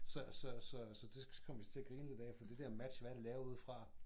Så så så så det kom vi til at grine lidt af for det der match hvad er det lavet ud fra?